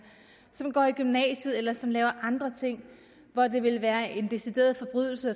som går i gymnasiet eller som laver andre ting og det ville være en decideret forbrydelse